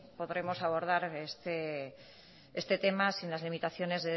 podremos abordar este tema sin las limitaciones